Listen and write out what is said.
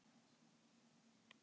Naustanesi